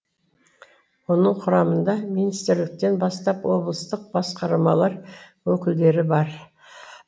оның құрамында министрліктен бастап облыстық басқармалар өкілдері бар